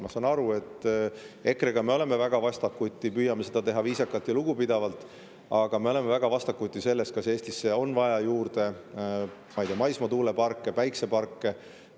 Ma saan aru, et EKRE‑ga me oleme väga vastakuti, püüame seda teha viisakalt ja lugupidavalt, aga me oleme väga vastakuti selles, kas Eestisse on vaja juurde, ma ei tea, maismaatuuleparke, päikeseparke.